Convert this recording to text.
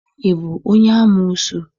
Ị bụ onye amoosu?